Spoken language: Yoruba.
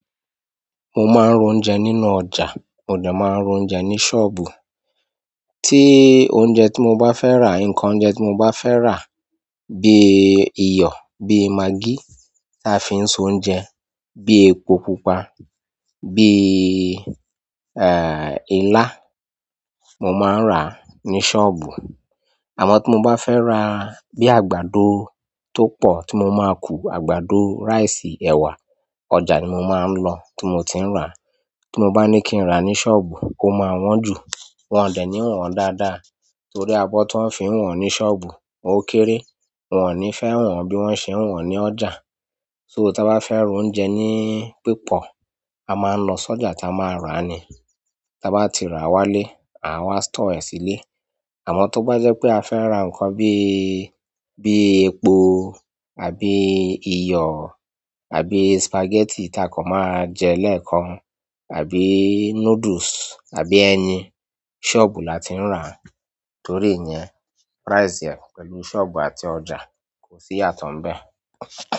Mo máa ń ra oúnjẹ nínú ọjà, mo dà máa ń ra oúnjẹ ní sọ́ọ̀bù. Tí oúnjẹ tí mo bá fẹ́ rà, nǹkan oúnjẹ tí mo bá fẹ́ rà bí i iyọ̀, bíi magí tí a fi ń so oúnjẹ, bíi epo pupa, bí i, eh, ilá mo máa ń rà ní sọ́ọ̀bù. Àmọ́ tí mo bá fẹ́ rà bí i àgbàdo tó pọ̀ tí mo máa kun, àgbàdo, rice, ẹ̀wà, ọjà ni mo máa ń lọ tí mo ti ń rà. Tí mo bá ní kí n rà ní sọ́ọ̀bù, ó máa wọ́n jù. Wọn ò de ní wọ́n dáadáa torí abọ́ tí wọ́n fi ń wọ̀n ní sọ́ọ̀bù ó kéré. Wọn ò ní fẹ́ wọ̀n bí wọ́n ṣe ń wọ̀n ní ọjà. So tí a bá fẹ́ roúnjẹ ní pípọ̀, a máa lọ sọ́jà táa máa rà ni. Táa bá ti rà wálé, àwa ń stọọ ẹ sílẹ̀. Àmọ́ tó bá jẹ́ pé a fẹ́ rà nǹkan bí, bí i epo àbí iyọ̀ àbí spaghetti tá a kan máa jẹ lẹ́ẹ̀kan àbí noodles àbí ẹyin, sọ́ọ̀bù la ti ń rà torí ẹ́nyẹn price rẹ̀ pẹ̀lú sọ́ọ̀bù àti ọjà kò sí yàtọ̀ mbẹ̀.